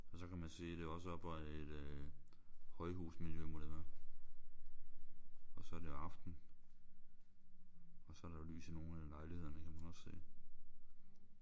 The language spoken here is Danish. Og så kan man se det er også oppe i et højhusmiljø må det være. Og så er det aften. Og så er der lys i nogle af lejlighederne kan man også se